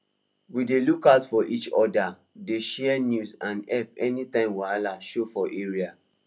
we dey look out for each other dey share news and help anytime wahala show for area